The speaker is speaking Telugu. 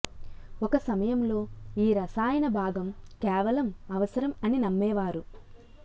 ఒక సమయంలో ఈ రసాయన భాగం కేవలం అవసరం అని నమ్మేవారు